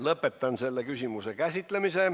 Lõpetan selle küsimuse käsitlemise.